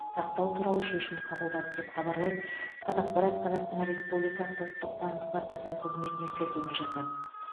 сақтау туралы шешім қабылдады деп хабарлайды қазақпарат қазақстан республикасы ұлттық банкі баспасөз қызметіне сілтеме жасап